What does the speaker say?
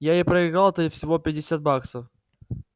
я и проиграл-то всего пятьдесят баксов